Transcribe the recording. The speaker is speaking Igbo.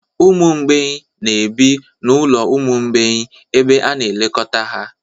Ụmụ mgbei na-ebi n'ụlọ ụmụ mgbei ebe a na-elekọta ha